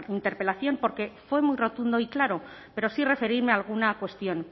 interpelación porque fue muy rotundo y claro pero sí referirme a alguna cuestión